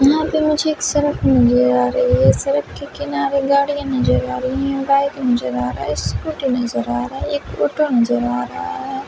यहाँ पे मुझे एक सड़क नजर आ रही है सड़क के किनारे गाड़ियाँ नजर आ रही हैं बाइक नजर आ रहा है स्कूटी नजर आ रही है एक ऑटो नजर आ रहा है।